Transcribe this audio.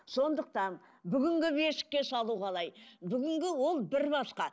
сондықтан бүгінгі бесікке салу қалай бүгінгі ол бір басқа